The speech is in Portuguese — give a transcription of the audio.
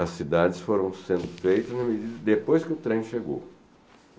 as cidades foram sendo feitas depois em que o trem chegou.